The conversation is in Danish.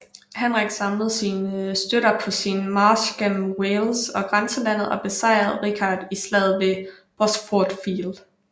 Henrik samlede sine støtter på sin march gennem Wales og grænselandet og besejrede Richard i Slaget ved Bosworth Field